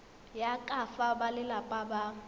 ya ka fa balelapa ba